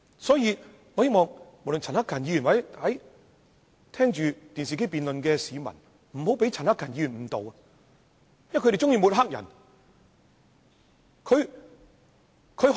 所以我希望在觀看電視直播的市民，不要被陳克勤議員誤導，因為他們喜歡抹黑別人。